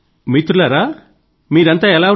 మిత్రులారా మీరంతా ఎలా ఉన్నారు